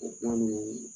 O kuma nin